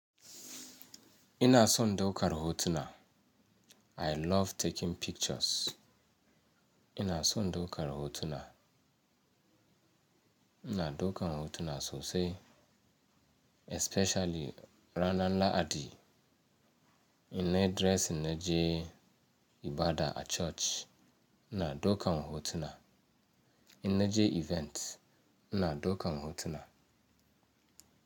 Ina son daukar hotuna. I love taking pictures. Ina son daukar hotuna. Ina daukar hotuna sosai especially ranar Lahadi. In nayi dressing na je ibada a church ina daukan hotuna. Ina je event ina daukan hotuna.